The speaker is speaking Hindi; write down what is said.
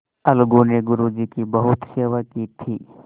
अलगू ने गुरु जी की बहुत सेवा की थी